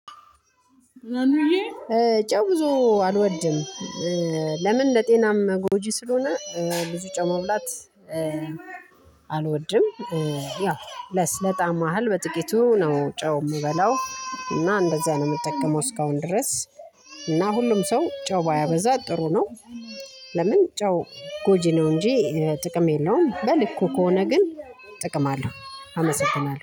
ጨው ብዙ አልወድም። ለምን? ለጤናም ጎጂ ስለሆነ ብዙ ጨው ማብላት አልወድም። ያው ለጣም ያህል በጥቂቱ ነው ጨው የምበላው። እና እንደዛ ነው የምጠቀመው እስካሁን ድረስ። እና ሁሉም ሰው ጨው ባያበዛ ጥሩ ነው። ለምን? ጨው ጎጂ ነው እንጂ ጥቅም የለውም። በልኩ ከሆነ ግን። ጥቅም አለው አመሰግናለሁ